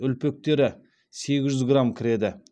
үлпектері сегіз жүз грамм кіреді